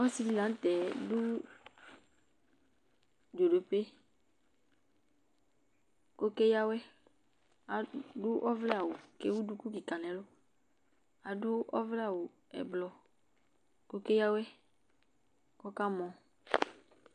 Ɔsɩɗɩlanʊtɛ ɔɗʊ zoɗope ƙʊ ɔƙeƴa awʊɛ aɗʊ ɔɓlɛ awʊ ewʊ ɗʊƙʊ nʊ ɛlʊ aɗʊ ɔʋlɛ awʊ aʋaʋlɩ ƙʊ ɔƙeƴa awʊɛ ƙu ɔƙamɔ